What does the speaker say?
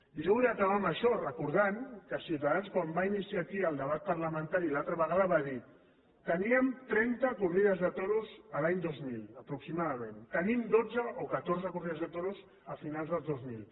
i jo vull acabar amb això i recordar que ciutadans quan va iniciar aquí el debat parlamentari l’altra vegada va dir teníem trenta corrides de toros l’any dos mil aproximadament en tenim dotze o catorze corrides de toros a finals del dos mil